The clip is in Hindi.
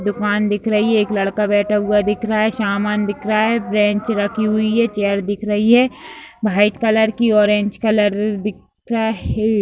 दुकान दिख रही है एक लड़का बैठा हुआ दिख रहा है सामान दिख रहा है बेंच रखी हुई है चेयर दिख रही है वाइट कलर की ऑरेंज कलर दिख रहा है।